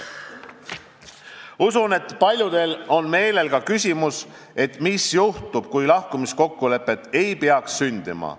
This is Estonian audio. Usun, et paljudel on ka küsimus, mis juhtub, kui lahkumiskokkulepet ei peaks sündima.